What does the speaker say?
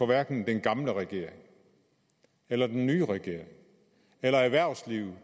hverken den gamle regering eller den nye regering eller erhvervslivet